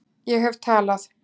Ég hef talað